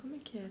Como é que era?